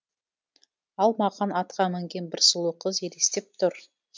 ал маған атқа мінген бір сұлу қыз елестеп тұр